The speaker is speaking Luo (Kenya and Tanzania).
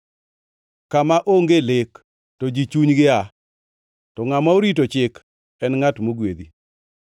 Kama onge lek, to ji chunygi aa to ngʼama orito chik en ngʼat mogwedhi.